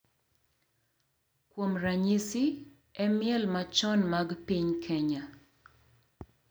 Kuom ranyisi, e miel machon mag piny Kenya, .